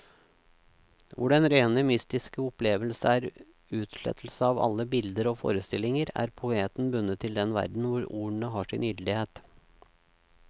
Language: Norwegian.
Hvor den rene mystiske opplevelse er utslettelse av alle bilder og forestillinger, er poeten bundet til den verden hvor ordene har sin gyldighet.